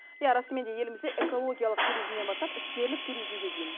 иә расыменде елімізде экологиялық туризмнен бастап іскерлік туризмге дейін